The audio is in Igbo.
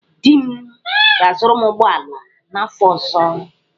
Di m ga-azụrụ m ụgbọala n'afọ ọzọ.